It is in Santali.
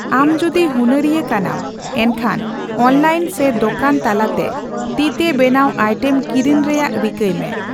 ᱟᱢᱡᱩᱫᱤ ᱦᱩᱱᱟᱹᱨᱤᱭᱟᱹ ᱠᱟᱱᱟᱢ ᱮᱱᱠᱷᱟᱱ ᱚᱱᱞᱟᱭᱤᱱ ᱥᱮ ᱫᱚᱠᱟᱱ ᱛᱟᱞᱟᱛᱮ ᱛᱤᱛᱮᱵᱮᱱᱟᱣ ᱟᱭᱴᱮᱢ ᱠᱤᱨᱤᱧ ᱨᱮᱭᱟᱜ ᱨᱤᱠᱟᱹᱭ ᱢᱮ ᱾